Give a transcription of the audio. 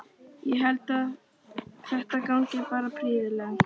Ég held að þetta gangi bara prýðilega.